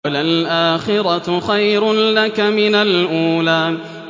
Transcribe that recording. وَلَلْآخِرَةُ خَيْرٌ لَّكَ مِنَ الْأُولَىٰ